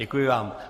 Děkuji vám.